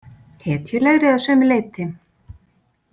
Hetjulegri að sumu leyti.